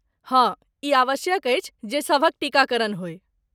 हँ, ई आवश्यक अछि जे सभक टीकाकरण होय।